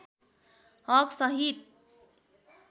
हक सहित